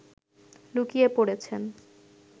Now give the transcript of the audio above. লুকিয়ে পড়েছেন